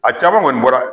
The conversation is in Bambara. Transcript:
A caman kɔni bɔra